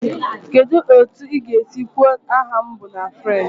Kedu otu ị ga-esi kwuo "aha m bụ..." na French?